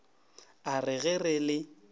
a re ge re le